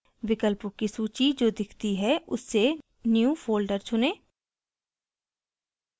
विकल्पों की सूची जो दिखती है उससे new folder चुनें